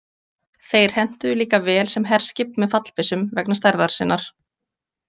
Þeir hentuðu líka vel sem herskip með fallbyssum vegna stærðar sinnar.